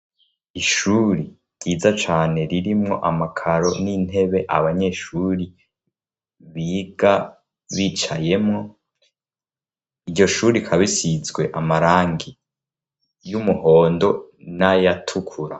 Ishuri ryiza cane, ririmwo amakaro n'intebe abanyeshuri biga bicayemwo, iryo shuri ikaba isizwe amarangi y'umuhondo n'ayatukura.